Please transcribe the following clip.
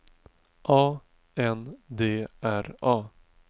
A N D R A